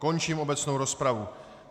Končím obecnou rozpravu.